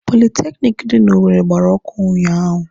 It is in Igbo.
Politekiniki dị n'Owere gbara ọkụ ụnyaahụ.